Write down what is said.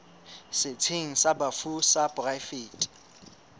setsheng sa bafu sa poraefete